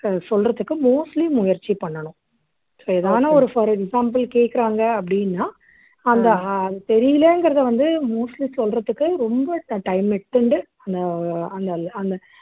அஹ் சொல்றதுக்கு mostly முயற்சி பண்ணணும் so எதானா ஒரு for example கேக்குறாங்க அப்படின்னா அந்த அஹ் தெரியலைங்கிறதை வந்து mostly சொல்றதுக்கு ரொம்ப time எடுத்துண்டு அந்த அந்த அந்த